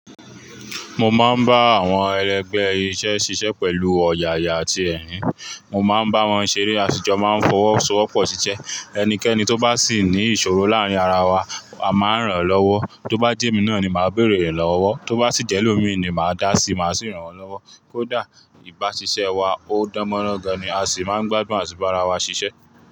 Mo máa ń bá àwọn ẹlẹgbẹ́ iṣẹ́ ṣiṣẹ́ pẹ̀lú ọ̀yàyà àti ẹ̀rín. Mo máa ń bá wọn ṣeré, aṣíjọ máa ń fọwọ́sowọ́pọ̀ ṣiṣẹ́. Ẹnikẹni tó bá sì ní ìṣòro láàárín ara wa, a máa ń ràn án lọ́wọ́. Tó bá jẹ́ mi náà ni màá béèrè é lọ́wọ́. Tó bá si jẹ́ ẹlómìí ni màá dásí, màá sì ràn án lọ́wọ́. Kódà ìbáṣiṣẹ́ wa ó dánmọ́rán gan ni a sì máa ń gbádùn àti bá ara wa ṣiṣẹ́.